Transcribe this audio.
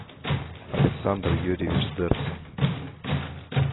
александр юрьевич дерксен